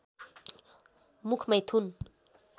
मुख मैथुन